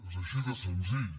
és així de senzill